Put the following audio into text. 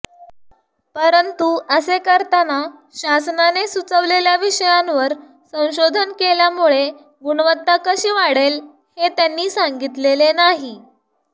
परंतु असे करताना शासनाने सुचवलेल्या विषयांवर संशोधन केल्यामुळे गुणवत्ता कशी वाढेल हे त्यांनी सांगितलेले नाही